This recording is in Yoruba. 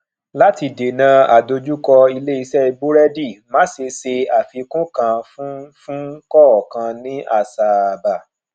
láti dènà àdojúko ilé iṣé burẹdi masé se àfikùn kan fún fún kọọkan ní àsáábà